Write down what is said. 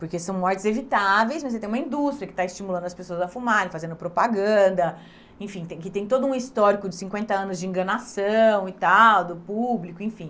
Porque são mortes evitáveis, mas aí tem uma indústria que está estimulando as pessoas a fumarem, fazendo propaganda, enfim, tem que tem todo um histórico de cinquenta anos de enganação e tal, do público, enfim.